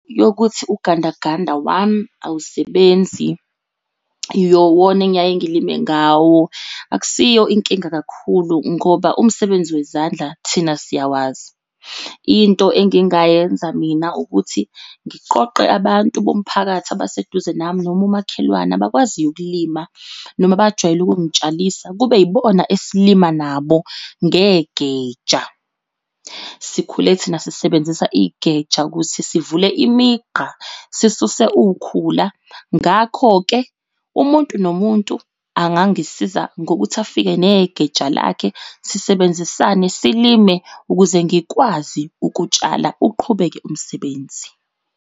Yokuthi ugandaganda wami awusebenzi wona engiyaye ngilime ngawo. Akusiyo inkinga kakhulu ngoba umsebenzi wezandla thina siyawazi. Into engingayenza mina ukuthi ngiqoqe abantu bomphakathi abaseduze nami noma umakhelwane abakwaziyo ukulima noma abajwayele ukungitshalisa kube yibona esalima nabo ngegeja. Sikhule thina sisebenzisa igeja ukuthi sivule imigqa sisuse ukhula. Ngakho-ke umuntu nomuntu angangisiza ngokuthi afike negeja lakhe sisebenzisane silime, ukuze ngikwazi ukutshala uqhubeke umsebenzi.